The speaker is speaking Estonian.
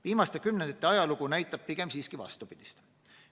Viimaste kümnendite ajalugu näitab pigem siiski vastupidist.